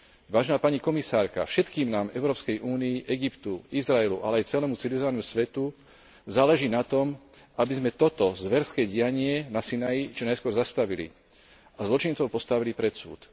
Vážená pani komisárka, všetkým nám Európskej únii, Egyptu, Izraelu, ale aj celému civilizovanému svetu záleží na tom, aby sme toto zverské dianie na Sinaji čo najskôr zastavili a zločincov postavili pred súd.